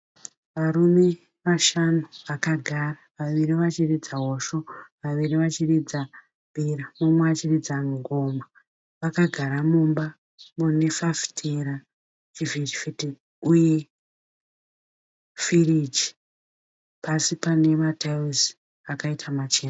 Varume vashanu vakagara. Vaviri vachiridza hosho, vaviri vachiridza mbira, umwe achiridza ngoma. Vakagara mumba mune fafitera, chivhitivhiti uye firiji. Pasi pane mataera akaita machena.